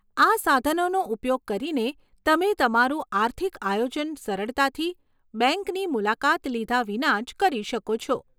આ સાધનોનો ઉપયોગ કરીને તમે તમારું આર્થિક આયોજન સરળતાથી, બેંકની મુલાકાત લીધાં વિના જ કરી શકો છો.